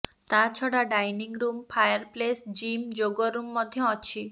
ତାଛଡା dining room fireplace gym yoga room ମଧ୍ୟ ଅଛି